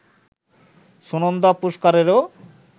Sunanda পুশকারেরও